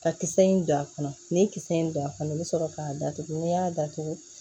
Ka kisɛ in don a kɔnɔ ni kisɛ in don a kɔnɔ i be sɔrɔ k'a datugu ni y'a datugu